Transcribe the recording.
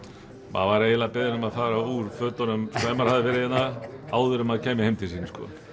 maður var beðinn um að fara úr fötunum ef maður hafði verið hérna áður en maður kæmi heim til sín